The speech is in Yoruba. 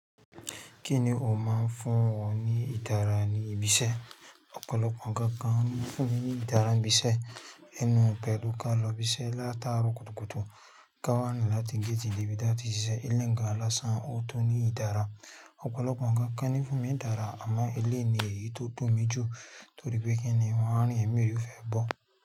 Kí ni o máa ń fún wọn ní ìdára ní ibi iṣẹ́? Ọ̀pọ̀lọpọ̀ ǹkan kan ń fún ní ìdára níbi iṣẹ́. Ẹnu pẹ̀lú ká lọ́ bí iṣẹ́ láti àárọ̀ kùtùkùtù, ká wá nù láti géètì dé bí iṣẹ́ ti ṣiṣẹ́, ilẹ̀ ń ga lásán, o tó ní ìdára. Ọ̀pọ̀lọpọ̀ ǹkan kan ń fún ní ìdára, àmọ́ ẹlẹ́ni èyí tó tọ́ mi jù torí pé kí ni wọ́n á rìn ẹ̀mí ẹ fẹ́ bọ̀.